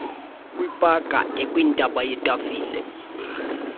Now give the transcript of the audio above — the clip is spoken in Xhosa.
kwipaka ekwintaba yetafile